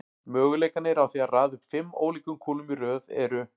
Möguleikarnir á því að raða upp fimm ólíkum kúlum í röð eru